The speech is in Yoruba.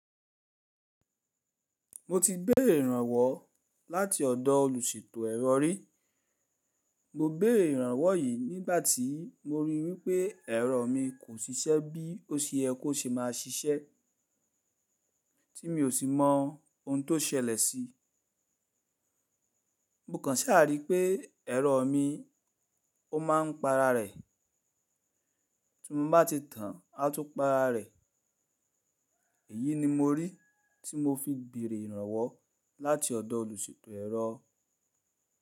Mo ti béèrè ìrànwọ́ láti ọ̀dọ̀ olùṣètò ẹ̀rọ rí. Mo béèrè ìrànwọ́ yìí nígbàtí mo rí wípé ẹ̀rọ mi kò ṣiṣẹ́ bí ó ṣe yẹ kó ṣe máa ṣiṣẹ́ tí mi ò sì mọ ohun tó ṣẹlẹ̀ sí. Mo kàn ṣàrí pé ẹ̀rọ mi ó ma ń pa ara rẹ̀, tí mo bá ti tàn á tún pa ara rẹ̀. Èyí ni mo rí tí mo fi béèrè ìrànwọ́ láti ọ̀dọ̀ olùṣètò ẹ̀rọ.